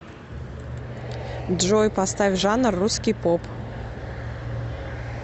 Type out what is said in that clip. джой поставь жанр русский поп